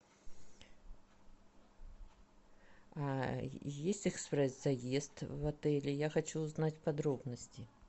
есть экспресс заезд в отеле я хочу узнать подробности